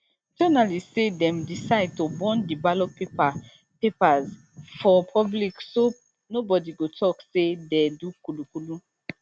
journalists say dem decide to burn di ballot paper paper for public so nobody go tok say dey do kululu